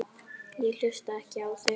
Ég hlusta ekki á þig!